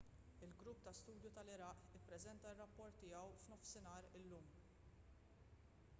il-grupp ta’ studju tal-iraq ippreżenta r-rapport tiegħu f’12.00 gmt illum